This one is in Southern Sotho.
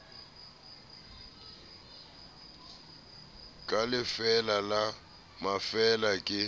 ka lefeela la mafeela ke